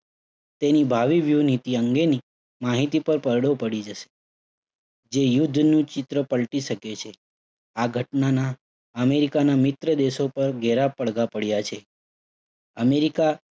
તેની ભાવિ વ્યૂહનીતિ અંગેની માહિતી પર પડદો પડી જશે. જે યુદ્ધનું ચિત્ર પલ્ટી શકે છે. આ ઘટનાના અમેરિકાના મિત્રદેશો પર ગહરા પડદા પડ્યા છે. અમેરિકા